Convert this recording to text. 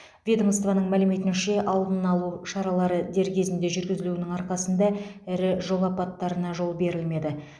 ведомствоның мәліметінше алдына алу шаралары дер кезінде жүргізілуінің арқасында ірі жол апаттарына жол берілмеді